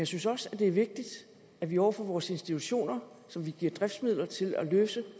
synes også det er vigtigt at vi over for vores institutioner som vi giver driftsmidler til at løse